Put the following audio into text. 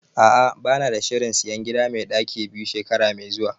A'ah bana da shirin sayan gida mai ɗaki biyu shekara mai zuwa